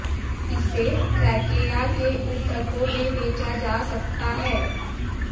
इसे ट्रेकेआ के ऊतकों में बेचा जा सकता है